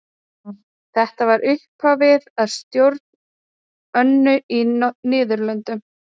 þetta var upphafið að stjórn önu á niðurlöndum